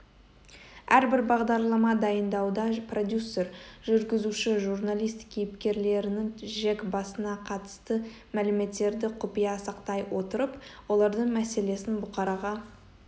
әрбір бағдарлама дайындауда продюсер жүргізуші журналист кейіпкерлерінің жек басына қатысты мәліметерді құпия сақтай отырып олардың мәселесін бұқараға